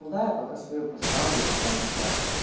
да я пока свою поставлю типа ну блять